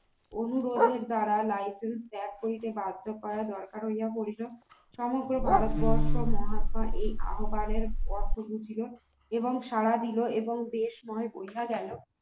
অনুরোধের দ্বারা licence ত্যাগ করিতে বাধ্য করা দরকার হইয়া পরিল সমগ্র ভারতবর্ষ মহাত্মা এই আহবানের অর্থ বুঝিলো এবং সাড়া দিল এবং দেশময় বোঝা গেল